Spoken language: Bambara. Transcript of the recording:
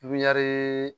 Pipiniyɛri